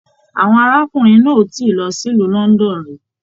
Àwọn arákùnrin náà o tíì lọ sílù London rí.